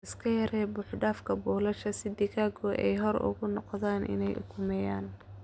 Iska yaree buuxdhaafka buulasha si digaagadu ay xor ugu noqdaan inay ukumeeyaan.